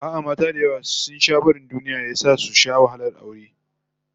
A'a, mata da yawa sun sha barin duniya ya sa su sha wahalar aure